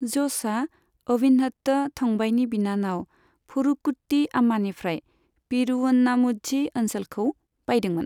ज'सआ अविन्हट्ट थंबाईनि बिनानाव परुकुट्टी आम्मानिफ्राय पेरूवन्नामुझी ओनसोलखौ बायदोंमोन।